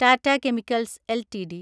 Tata chemicals LTD